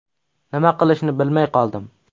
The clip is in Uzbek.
Nima qilishni bilmay qoldim.